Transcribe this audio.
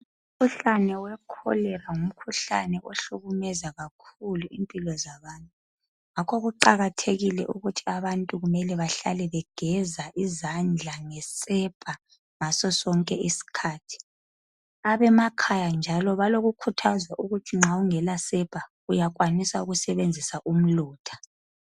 Umkhuhlane wekholera ngumkhuhlane ohlukumeza kakhulu impilo zabantu. Ngakho kuqakathekile ukuthi abantu kumele bahlale begeza izandla ngesepa ngasosonke isikhathi. Abemakhaya njalo balokukhuthazwa ukuthi nxa ungelasepa uyakwanisa ukusebenzisa umlotha.